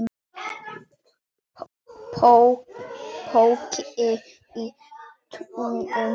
Poki í tunnu